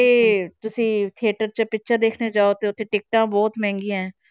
~ਥੇ ਤੁਸੀਂ theater 'ਚ picture ਦੇਖਣੇ ਜਾਓ ਤੇ ਉੱਥੇ ਟਿੱਕਟਾਂ ਬਹੁਤ ਮਹਿੰਗੀਆਂ ਹੈ।